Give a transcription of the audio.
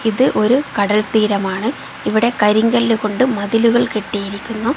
ഇത് ഒരു കടൽ തീരമാണ് ഇവിടെ കരിങ്കല്ല് കൊണ്ട് മതിലുകൾ കെട്ടിയിരിക്കുന്നു.